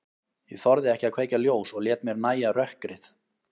Ég þorði ekki að kveikja ljós og lét mér nægja rökkrið.